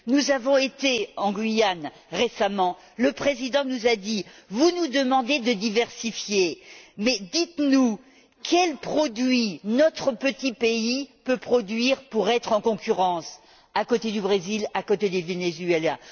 Nous avons été en Guyane récemment où le président nous a dit vous nous demandez de diversifier, mais dites nous quels produits notre petit pays peut produire pour être concurrentiel face au Brésil et au Venezuela?